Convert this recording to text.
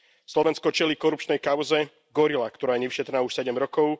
Slovensko čelí korupčnej kauze Gorila, ktorá je nevyšetrená už sedem rokov.